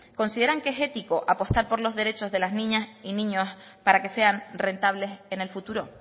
consideran que es ético apostar por los derechos de las niñas y niños para que sean rentables en el futuro